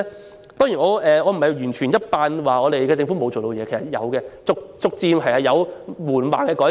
我當然不是要完全否定政府的努力，在這方面也確實逐漸有緩慢的改善。